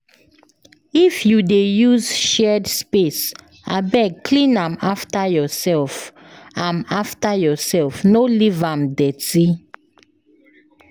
If you dey use shared space, abeg clean am after yourself, am after yourself, no leave am dirty.